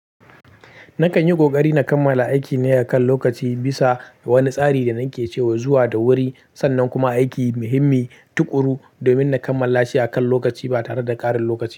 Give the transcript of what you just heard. Nakanyi ƙoƙari na kammala aikine akan lokaci bisa wani tsari da nake cewa zuwa da wuri sannan kuma aiki muhimmi, tukuru, domin na kammala shi akan lokaci ba tareda ƙarin lokaci ba.